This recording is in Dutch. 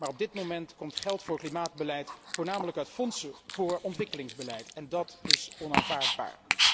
Op dit moment echter komt geld voor klimaatbeleid voornamelijk uit fondsen voor ontwikkelingsbeleid, en dat is onaanvaardbaar.